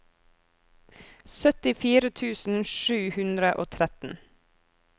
syttifire tusen sju hundre og tretten